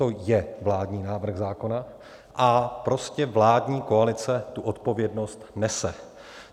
To je vládní návrh zákona a prostě vládní koalice tu odpovědnost nese.